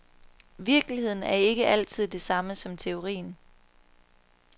Virkeligheden er ikke altid det samme som teorien.